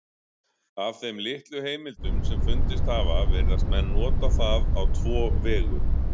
Af þeim litlu heimildum sem fundist hafa virðast menn nota það á tvo vegu.